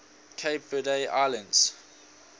cape verde islands